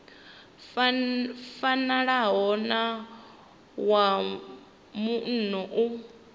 fanaho na wa muno u